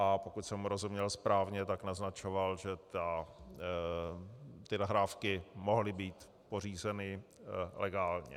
A pokud jsem mu rozuměl správně, tak naznačoval, že ty nahrávky mohly být pořízeny legálně.